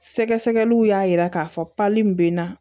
Sɛgɛsɛgɛliw y'a yira k'a fɔ pali min bɛ n na